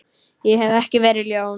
Ég hef ekki verið ljón.